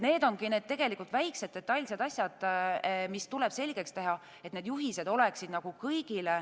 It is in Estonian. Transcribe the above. Need ongi need väikesed asjad, mis tuleb selgeks teha, et kõigil oleksid juhised.